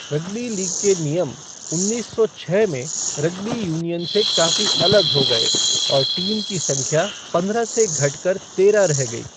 Rugby league के नियम उन्नीस सौ छः में रग्बी यूनियन से काफी अलग हो गए और टीम की संख्या पंद्रह से घटकर तेरह रह गई।